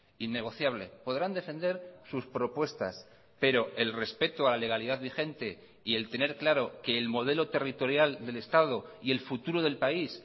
innegociable podrán defender sus propuestas pero el respeto a la legalidad vigente y el tener claro que el modelo territorial del estado y el futuro del país